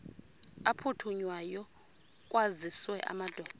aphuthunywayo kwaziswe amadoda